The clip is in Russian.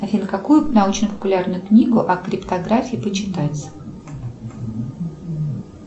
афина какую научно популярную книгу о криптографии почитать